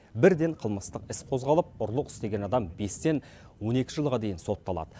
бірден қылмыстық іс қозғалып ұрлық істеген адам бестен он екі жылға дейін сотталады